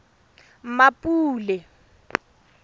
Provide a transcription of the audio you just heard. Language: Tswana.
mmapule